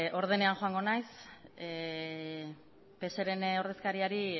ordenean joango naiz pseren ordezkariari